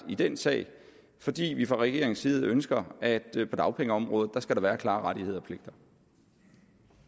i den sag fordi vi fra regeringens side ønsker at der på dagpengeområdet skal være klare rettigheder